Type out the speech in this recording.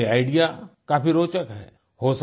उनका ये आईडीईए काफी रोचक है